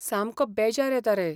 सामको बेजार येता रे!